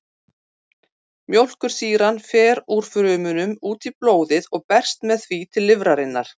Mjólkursýran fer úr frumunum út í blóðið og berst með því til lifrarinnar.